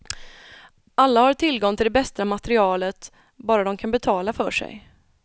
Alla har tillgång till det bästa materialet, bara de kan betala för sig.